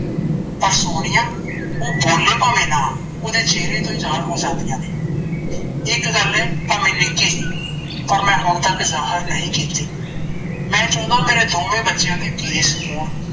ਪਰ ਸੋਨੀਆ ਓਹ ਬੋਲੇ ਭਾਵੇ ਨਾਂ ਓਦੇ ਚੇਹਰੇ ਤੋਂ ਹੀ ਜਾਹਰ ਹੋ ਜਾਂਦੀਆ ਨੇ ਇੱਕ ਗੱਲ ਏ ਭਾਵੇ ਨਿੱਕੀ ਜੀ ਪਰ ਮੈ ਹੁਣ ਤੱਕ ਜਾਹਰ ਨਹੀਂ ਕੀਤੀ ਮੈ ਚਾਉਂਦਾ ਮੇਰੇ ਦੋਵੇਂ ਬਚਿਆ ਦੇ ਕੇਸ ਹੋਣ